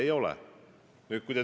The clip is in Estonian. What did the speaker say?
Ei ole!